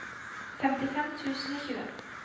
femtifem tusen og tjue